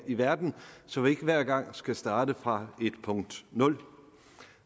i verden så vi ikke hver gang skal starte fra punkt nul